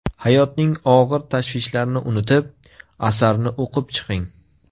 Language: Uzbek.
Hayotning og‘ir tashvishlarini unutib, asarni o‘qib chiqing.